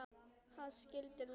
Þá skildu leiðir.